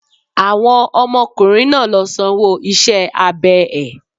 Àwọn ọmọ ọkùnrin náà ló sanwó iṣẹ́ abẹ ẹ̀.